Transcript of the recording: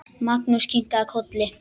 Magnús kinkaði kolli.